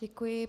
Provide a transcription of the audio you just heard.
Děkuji.